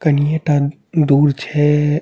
कनिये टन दूर छे एए।